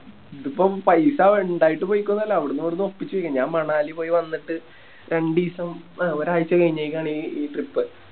ഇതിപ്പോ പൈസ ഇണ്ടായിട്ട് പോയിക്കൊന്നല്ല അവിടുന്നും ഇവിടുന്നും ഒപ്പിച്ച് ഞാൻ മണാലി പോയി വന്നിട്ട് രണ്ടീസം ആ ഒരായ്ച്ച കയിഞ്ഞയിക്കാണ് ഈ Trip